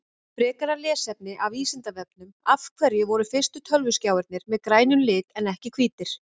Frekara lesefni af Vísindavefnum Af hverju voru fyrstu tölvuskjáirnir með grænum lit en ekki hvítir?